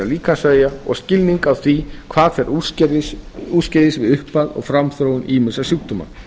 líkamsvefja og skilning á því hvað fer úrskeiðis við upphaf og framþróun ýmissa sjúkdóma